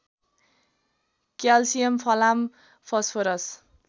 calcium फलाम phosphorus